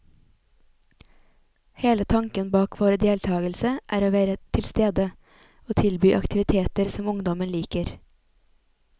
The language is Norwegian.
Hele tanken bak vår deltagelse er å være tilstede, og tilby aktiviteter som ungdommen liker.